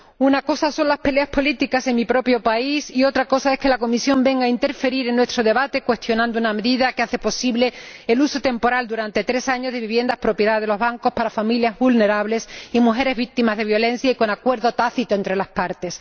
Una cosa son las peleas políticas en mi propio país y otra es que la Comisión venga a interferir en nuestro debate cuestionando una medida que hace posible el uso temporal, durante tres años, de viviendas propiedad de los bancos para familias vulnerables y mujeres víctimas de violencia y con acuerdo tácito entre las partes.